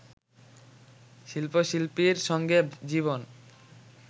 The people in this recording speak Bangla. শিল্প-শিল্পীর সঙ্গে জীবন